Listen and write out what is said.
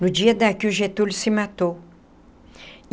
No dia da que o Getúlio se matou.